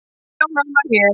Sjá nána hér